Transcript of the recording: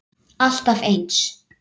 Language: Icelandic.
Alltaf eins!